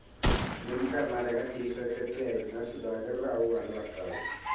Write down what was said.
മുൻ കർണാടക ചീഫ്‌ സെക്രട്ടറിയായിരുന്ന സുധാകർ റാവുവാണ് ഭർത്താവ്.